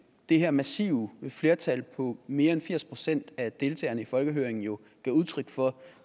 det her massive flertal på mere end firs procent af deltagerne i folkehøringen gav udtryk for